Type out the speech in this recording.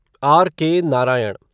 R K. Narayan